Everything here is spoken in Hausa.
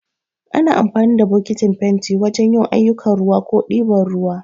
Ana amfani da bokatin fenti wajan yin aiyukan ruwa ko ɗiban ruwa